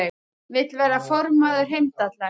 Vill verða formaður Heimdallar